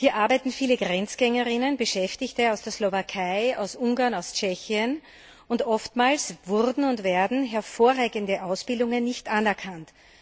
Hier arbeiten viele Grenzgängerinnen, Beschäftigte aus der Slowakei, aus Ungarn, aus Tschechien, und oftmals wurden und werden hervorragende Ausbildungen nicht anerkannt.